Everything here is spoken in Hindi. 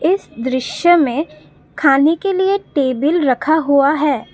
इस दृश्य में खाने के लिए टेबल रखा हुआ है।